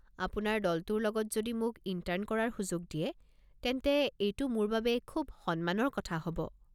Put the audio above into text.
আপোনাৰ দলটোৰ লগত যদি মোক ইণ্টাৰ্ণ কৰাৰ সুযোজ দিয়ে তেন্তে এইটো মোৰ বাবে খুব সন্মানৰ কথা হ'ব।